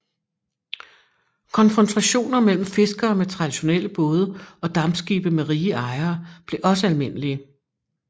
Konfrontationer mellem fiskere med traditionelle både og dampskibe med rige ejere blev også almindelige